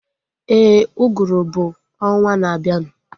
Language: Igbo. Éè, uguru bụ ọnwaa na abianu